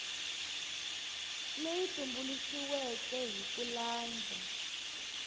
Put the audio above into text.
leyi tumbuluxiweke hi ku landza